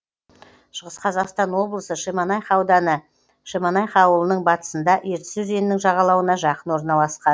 шығыс қазақстан облысы шемонаиха ауданы шемонаиха ауылының батысында ертіс өзенінің жағалауына жақын орналасқан